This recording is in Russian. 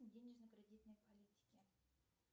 денежно кредитной политики